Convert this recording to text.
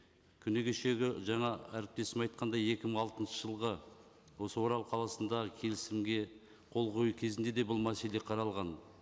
күні кешегі жаңа әріптесім айтқандай екі мың алтыншы жылғы осы орал қаласындағы келісімге қол қою кезінде де бұл мәселе қаралған